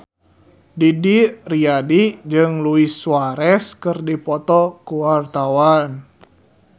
Didi Riyadi jeung Luis Suarez keur dipoto ku wartawan